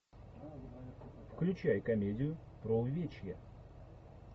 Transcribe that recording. включай комедию про увечья